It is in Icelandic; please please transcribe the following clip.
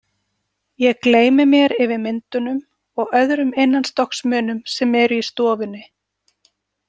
Ég gleymi mér yfir myndunum og öðrum innanstokksmunum sem eru í stofunni.